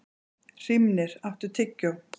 Hrímnir, áttu tyggjó?